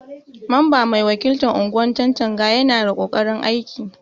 Mamba mai wakiltan unguwan Chanchaga Yana da kokarin aiki.